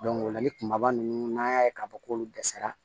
o la kumaba ninnu n'an y'a ye k'a fɔ k'olu dɛsɛra